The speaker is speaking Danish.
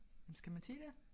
Jamen skal man sige det?